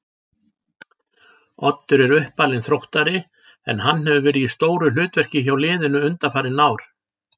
Oddur er uppalinn Þróttari en hann hefur verið í stóru hlutverki hjá liðinu undanfarin ár.